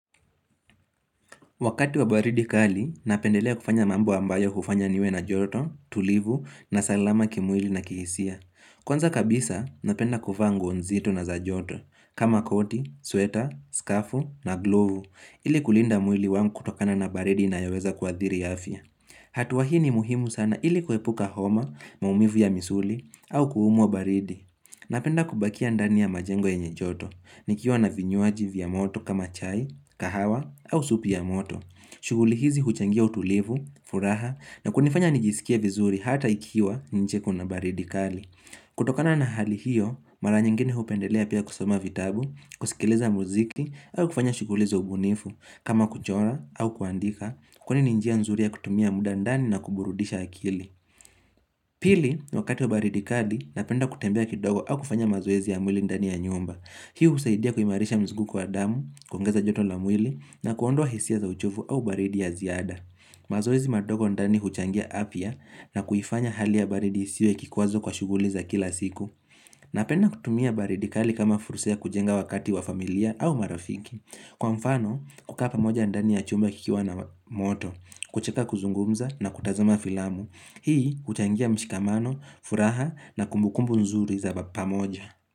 Wakati wa baridi kali, napendelea kufanya mambo ambayo hufanya niwe na joto, tulivu, na salama kimwili na kihisia. Kwanza kabisa, napenda kuvaa nguo nzito na za joto, kama koti, sweta, skafu, na glovu, ili kulinda mwili wangu kutokana na baridi na yaweza kwa adhiri ya afya. Hatua hii ni muhimu sana ili kuhepuka homa, maumivu ya misuli, au kuumwa baridi. Napenda kubakia ndani ya majengo enye joto, nikiwa na vinyuaji vya moto kama chai, kahawa au supi ya moto. Shughuli hizi huchangia utulivu, furaha na kunifanya nijisikia vizuri hata ikiwa nje kuna baridi kali. Kutokana na hali hiyo, mara nyingine hupendelea pia kusama vitabu, kusikileza muziki au kufanya shughuli za ubunifu kama kuchora au kuandika kwani ninjia nzuri ya kutumia muda ndani na kuburudisha akili. Pili, wakati wa baridi kali, napenda kutembea kidogo au kufanya mazoezi ya mwili ndani ya nyumba Hii usaidia kuimarisha mzuguko kwa damu, kuongeza joto la mwili na kuondwa hisia za uchovu au baridi ya ziada mazoezi madogo ndani huchangia afya na kuifanya hali ya baridi isiwe kikuazo kwa shuguliza kila siku Napenda kutumia baridi kali kama fursa kujenga wakati wa familia au marafiki. Kwa mfano, kukaa pamoja ndani ya chumba kikiwa na moto, kucheka kuzungumza na kutazama filamu Hii utangia mshikamano, furaha na kumbukumbu nzuri za pamoja.